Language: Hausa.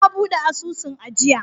Ya buɗe asusun ajiya.